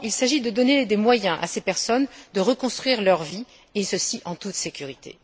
Non, il s'agit de donner des moyens à ces personnes de reconstruire leur vie en toute sécurité.